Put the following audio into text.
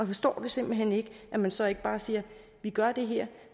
forstår simpelt hen ikke at man så ikke bare siger vi gør det her